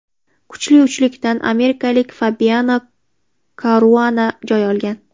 Kuchli uchlikdan amerikalik Fabiano Karuana joy olgan.